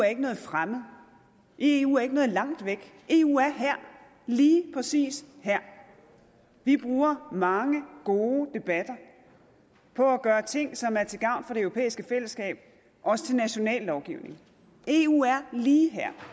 er ikke noget fremmed eu er ikke noget langt væk eu er her lige præcis her vi bruger mange gode debatter på at gøre ting som er til gavn for det europæiske fællesskab også for national lovgivning eu er lige her